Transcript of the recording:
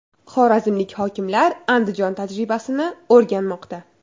Xorazmlik hokimlar Andijon tajribasini o‘rganmoqda.